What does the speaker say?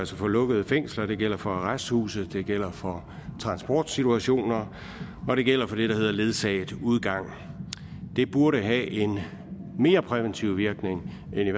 for lukkede fængsler det gælder for arresthuse det gælder for transportsituationer og det gælder for det der hedder ledsaget udgang det burde i have en mere præventiv virkning end